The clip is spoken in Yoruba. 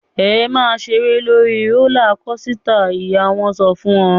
"Ẹ máa ṣeré lórí rólá kosità!" Ìyá wọn sọ fún wọn.